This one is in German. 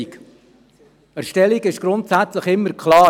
Was eine Erstellung ist, ist grundsätzlich immer klar.